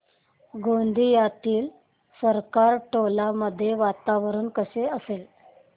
गोंदियातील सरकारटोला मध्ये वातावरण कसे असेल